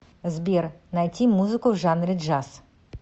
сбер найти музыку в жанре джаз